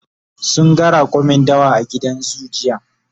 sun ga raƙumin dawa a gidan zoo jiya